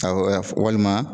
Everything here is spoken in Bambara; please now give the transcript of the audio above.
fɔ walima